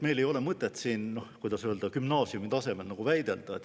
Meil ei ole mõtet siin – noh, kuidas öelda – gümnaasiumi tasemel väidelda.